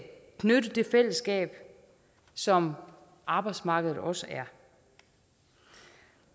knytte det fællesskab som arbejdsmarkedet også er